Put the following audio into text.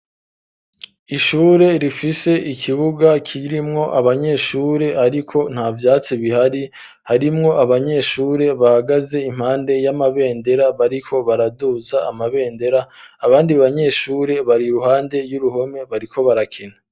Ishure rifise ikibuga kirimwo abanyeshure ariko nta vyatsi bihari harimwo abanyeshure bahagaze impande y'amabendera bariko baraduza amabendera abandi banyeshure bari ruhande y'uruhome bariko barakina.